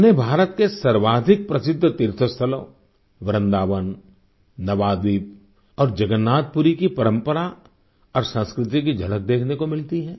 उन्हें भारत के सर्वाधिक प्रसिद्ध तीर्थस्थलों वृंदावन नवाद्वीप और जगन्नाथपुरी की परंपरा और संस्कृति की झलक देखने को मिलती है